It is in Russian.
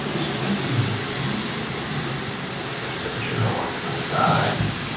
это что такое а господи гончарова отстань